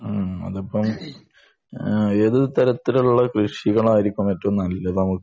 ആഹ് അതിപ്പം ഏതു തരത്തിലുള്ള കൃഷികളായിരിക്കും ഏറ്റവും നല്ലത് അവിടുത്തെ